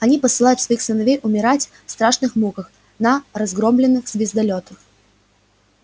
они посылают своих сыновей умирать в страшных муках на разгромленных звездолётах